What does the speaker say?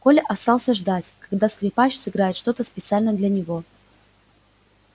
коля остался ждать когда скрипач сыграет что то специально для него